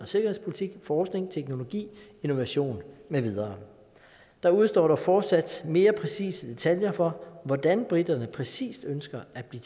sikkerhedspolitik forskning teknologi innovation med videre der udestår dog fortsat mere præcise detaljer for hvordan briterne præcis ønsker at blive